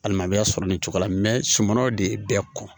Alima a bɛ a sɔrɔ nin cogo la sumanaw de ye bɛɛ ko